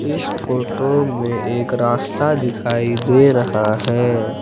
इस फोटो में एक रास्ता दिखाई दे रहा है।